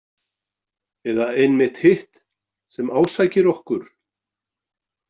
Eða einmitt hitt sem ásækir okkur?